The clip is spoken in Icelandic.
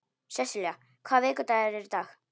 Sessilía, hvaða vikudagur er í dag?